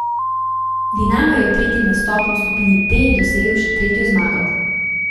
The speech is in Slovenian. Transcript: Dinamo je v tretjem nastopu v skupini D dosegel še tretjo zmago.